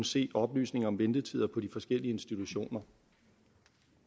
se oplysninger om ventetider på de forskellige institutioner